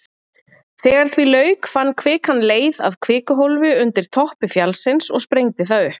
Þegar því lauk fann kvikan leið að kvikuhólfi undir toppi fjallsins og sprengdi það upp.